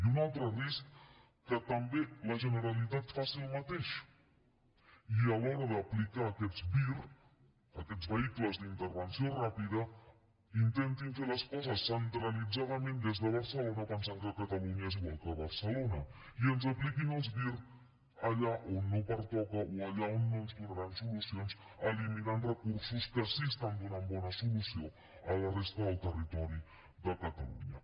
i un altre risc que també la generalitat faci el mateix i a l’hora d’aplicar aquests vir aquests vehicles d’intervenció ràpida intentin fer les coses centralitzadament des de barcelona pensant que catalunya és igual que barcelona i ens apliquin els vir allà on no pertoca o allà on no ens donaran solucions eliminant recursos que sí que estan donant bona solució a la resta del territori de catalunya